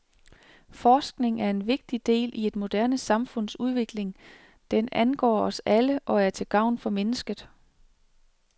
Forskning er en vigtig del i et moderne samfunds udvikling, den angår os alle, og er til gavn for mennesket.